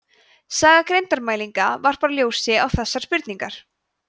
saga greindarmælinga varpar ljósi á þessar spurningar